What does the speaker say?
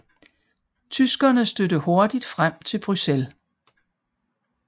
Tyskerne stødte hurtigt frem til Bruxelles